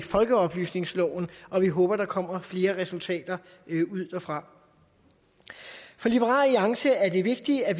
folkeoplysningsloven og vi håber der kommer flere resultater ud derfra for liberal alliance er det vigtigt at